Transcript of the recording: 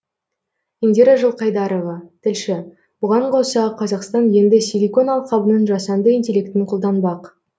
индира жылқайдарова тілші бұған қоса қазақстан енді силикон алқабының жасанды интеллектін қолданбақ